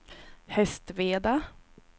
Hästveda